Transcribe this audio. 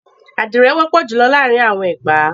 Àdìrẹ wọ́pọ̀ júlọ láàrín àwọn ará Ẹ̀gbá.